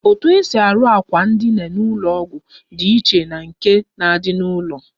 Etu esi arụ akwa ndina ụlọ ọgwụ dị iche na nke na-adị n'ụlọ.